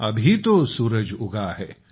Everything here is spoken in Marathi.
अभी तो सुरज उगा है